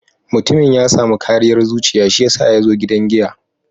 Mutumin ya samu kariyar zuciya shiyasa ya zo gidan giya.